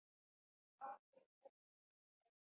Oddur ók sér í sætinu.